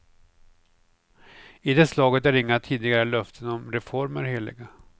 I det slaget är inga tidigare löften om reformer heliga.